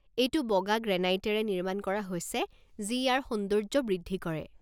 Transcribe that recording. এইটো বগা গ্ৰেনাইটেৰে নিৰ্মাণ কৰা হৈছে যি ইয়াৰ সৌন্দৰ্য্য বৃদ্ধি কৰে।